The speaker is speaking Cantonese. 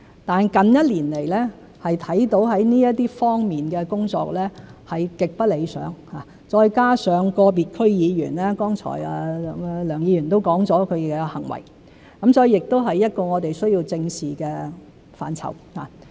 但近一年來，可看到在這方面的工作是極不理想，再加上個別區議員作出剛才梁議員提及的行為，所以亦是我們需要正視的範疇。